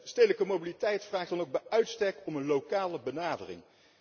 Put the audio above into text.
Stedelijke mobiliteit vraagt dan ook bij uitstek om een lokale benadering.